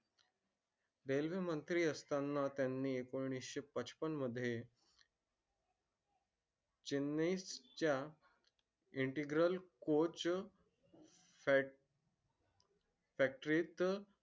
railway मंत्री असताना त्यांनी एकोणीसशे पचपन मध्ये. चेन्नई च्या. intrigral coach factory त